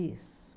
Isso.